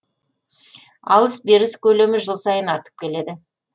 алыс беріс көлемі жыл сайын артып келеді